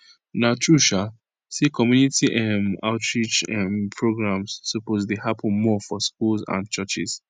na true um say community um outreach um programs suppose dey happen more for schools and churches